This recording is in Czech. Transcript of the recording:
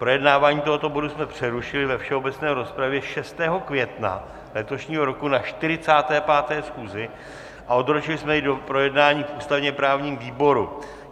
Projednávání tohoto bodu jsme přerušili ve všeobecné rozpravě 6. května letošního roku na 45. schůzi a odročili jsme je do projednání v ústavně-právním výboru.